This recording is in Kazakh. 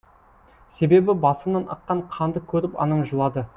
себебі басымнан аққан қанды көріп анам жылады